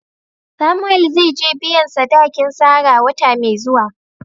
Samuel zai je biyan sadakin Sarah wata mai zuwa.